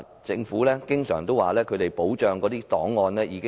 政府經常表示已妥善保存檔案。